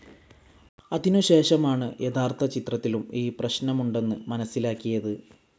അതിനുശേഷമാണ് യഥാർത്ഥചിത്രത്തിലും ഈ പ്രശ്നമുണ്ടെന്ന് മനസ്സിലാക്കിയത്.